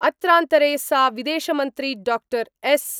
अत्रान्तरे सा विदेशमन्त्री डॉक्टर एस् .